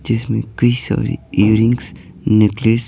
जिसमें कई सारी ईयरिंग्स नेक्लेस --